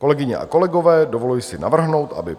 Kolegyně a kolegové, dovoluji si navrhnout, aby